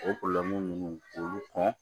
O ninnu k'olu kɔn